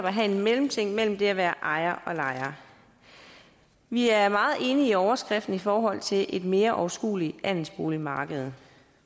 have en mellemting mellem det at være ejer og lejer vi er meget enige i overskriften i forhold til et mere overskueligt andelsboligmarked